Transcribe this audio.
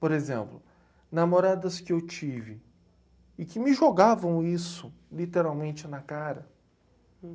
Por exemplo, namoradas que eu tive e que me jogavam isso literalmente na cara.